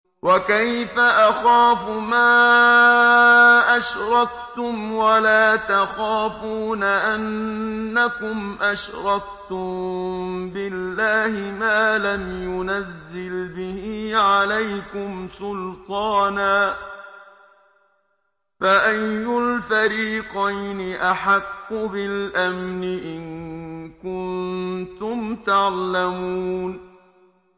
وَكَيْفَ أَخَافُ مَا أَشْرَكْتُمْ وَلَا تَخَافُونَ أَنَّكُمْ أَشْرَكْتُم بِاللَّهِ مَا لَمْ يُنَزِّلْ بِهِ عَلَيْكُمْ سُلْطَانًا ۚ فَأَيُّ الْفَرِيقَيْنِ أَحَقُّ بِالْأَمْنِ ۖ إِن كُنتُمْ تَعْلَمُونَ